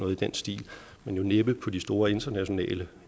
i den stil men næppe på de store internationale